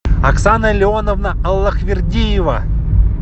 оксана леоновна аллахвердиева